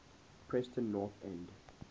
preston north end